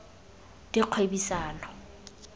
dikgwebisano